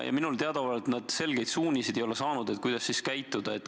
Minule teadaolevalt nad selgeid suuniseid ei ole saanud, kuidas käituda.